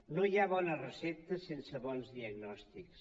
no hi ha bones receptes sense bons diagnòstics